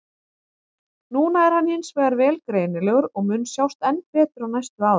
Núna er hann hins vegar vel greinilegur og mun sjást enn betur á næstu árum.